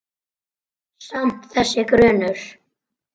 Samt- þessi grunur.